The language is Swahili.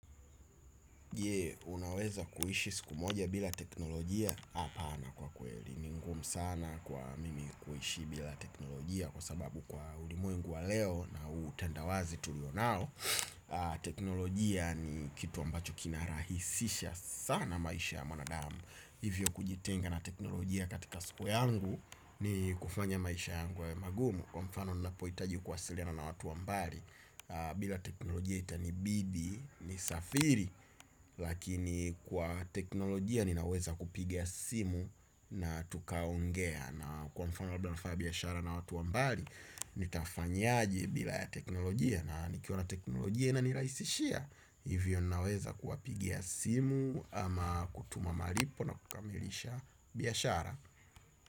Jee, unaweza kuishi siku moja bila teknolojia hapana kwa kweli ni ngumu sana kwa mimi kuishi bila teknolojia kwa sababu kwa ulimwengu wa leo na utendawazi tulio nao. Teknolojia ni kitu ambacho kina rahisisha sana maisha ya mwanadamu hivyo kujitenga na teknolojia katika siku yangu ni kufanya maisha yangu yawe magumu wa mfano ninapoitaji kuwasiliana na watu wa mbali. Bila teknolojia itanibidi, nisafiri. Lakini kwa teknolojia ninaweza kupiga simu na tukaongea na kwa mfano labda nafanya biashara na watu wa mbali. Nitafanyaje bila ya teknolojia na nikiwa na teknolojia inanirahisishia hivyo naweza kuwapigia simu ama kutuma malipo na kukamilisha biashara.